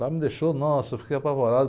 Lá me deixou, nossa, eu fiquei apavorado.